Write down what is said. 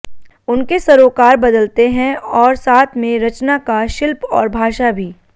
उनके सरोकार बदलते है और साथ में रचना का शिल्प और भाषा भी